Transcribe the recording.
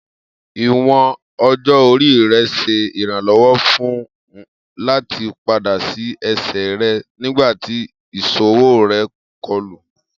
Iwọn ọjọ-ori rẹ ṣe iranlọwọ fun u lati pada si ẹsẹ rẹ nigbati iṣowo rẹ kọlu